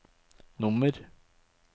nummer